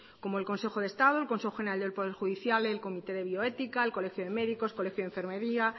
como el consejo de estado el consejo general del poder judicial el comité de bioética el colegio de médicos colegio de enfermería